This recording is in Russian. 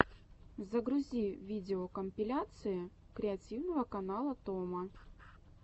загрузи видеокомпиляции креативного канала томо